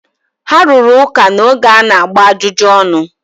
ha rụrụ ụka n’oge a na-agba ajụjụ ọnụ